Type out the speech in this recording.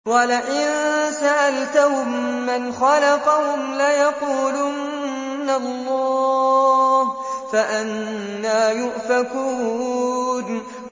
وَلَئِن سَأَلْتَهُم مَّنْ خَلَقَهُمْ لَيَقُولُنَّ اللَّهُ ۖ فَأَنَّىٰ يُؤْفَكُونَ